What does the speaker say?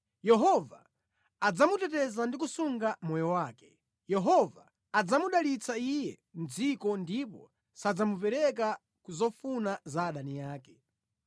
Yehova adzamuteteza ndi kusunga moyo wake; Yehova adzamudalitsa iye mʼdziko ndipo sadzamupereka ku zofuna za adani ake.